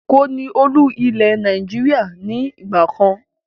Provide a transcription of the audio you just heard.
Èkó ni Olú-ilẹ̀ Nàìjíríà ni ìgbàkan